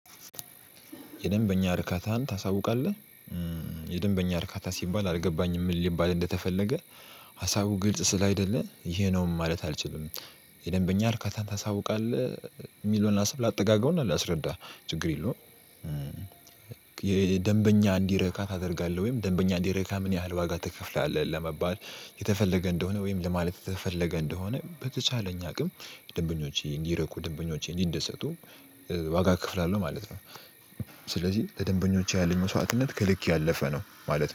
የደንበኛ እርካታን ታሳውቃለህ? የደንበኛ እርካታ ሲባል አልገባኝም ምን ሊባል እንደተፈለገ። ሀሳቡ ግልጽ ስላልሆነ ይሄ ነው ማለት አልችልም። የደንበኛ እርካታን ታሳውቃለህ? እሚለውን ሀሳብ ላጠጋጋውና ላስረዳ ችግር የለውም። የደንበኛ እንዲረካ ታደርጋለህ ወይም ደንበኛ እንዲረካ ምን ያህል ዋጋ ትከፍላለህ? ለመባል የተፈለገ እንደሆነ ወይም ለማለት የተፈለገ እንደሆነ በተቻለኝ አቅም ደንበኞቼ እንዲረኩ ደንበኞቼ እንዲንደሰቱ ዋጋ እከፍላለው ማለት ነው። ስለዚህ ለደንበኞች ያለኝ መስዋዕትነት ከልክ ያለፈ ነው ማለት ነው